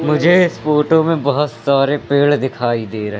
मुझे इस फोटो में बहोत सारे पेड़ दिखाई दे र--